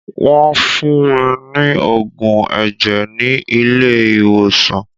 Wọ́n fún mí ní oògùn ẹ̀jẹ̀ ni ilé ìwòsàn.